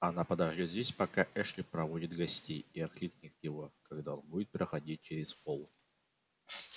она подождёт здесь пока эшли проводит гостей и окликнет его когда он будет проходить через холл